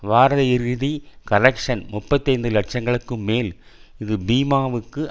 வார இறுதி கலெக்ஷ்ன் முப்பத்தைந்து லட்சங்களுக்கும் மேல் இது பீமா வுக்கு